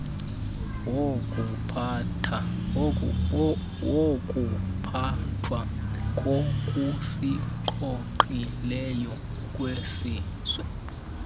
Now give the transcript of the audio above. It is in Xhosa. wokuphathwa kokusingqongileyo kwesizwe